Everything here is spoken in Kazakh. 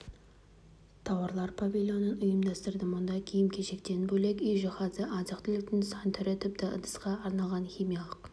тауарлар павилионын ұйымдастырды мұнда киім-кешектен бөлек үй жиһазы азық-түліктің сан түрі тіпті ыдысқа арналған химиялық